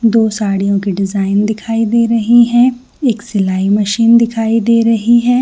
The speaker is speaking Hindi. दो साड़ियों के डिज़ाइन दिखाई दे रहै है एक सिलाई मशीन दिखाई दे रही है।